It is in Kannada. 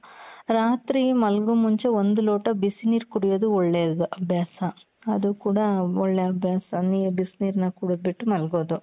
ರಾತ್ರಿ ಮಲ್ಗೋ ಮುಂಚೆ ಒಂದು ಲೋಟ ಬಿಸಿ ನೀರು ಕುಡಿಯೋದು ಒಳ್ಳೇದು ಅಭ್ಯಾಸ ಅದು ಕೂಡ ಒಳ್ಳೆ ಅಭ್ಯಾಸ ಬಿಸಿ ನೀರ್ನ ಕುಡ್ದು ಬಿಟ್ಟು ಮಲ್ಗೊದು .